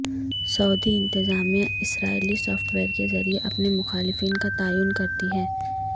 سعودی انتظامیہ اسرائیلی software کے ذریعے اپنے مخالفین کا تعین کرتی ہے